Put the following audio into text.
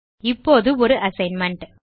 இப்போது ஒரு அசைன்மென்ட்